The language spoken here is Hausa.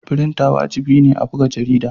Frinter wajibi ne a buga jarida.